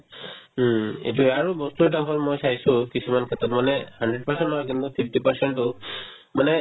উম, এইটোয়ে আৰু বস্তু এটা হ'ল মই চাইছো কিছুমান ক্ষেত্ৰত মানে hundred percent নহয় কিন্তু fifty percent তো মানে